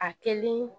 A kɛlen